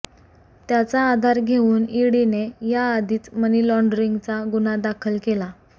त्याचा आधार घेऊन ईडीने याआधीच मनी लॉण्डरिंगचा गुन्हा दाखल केला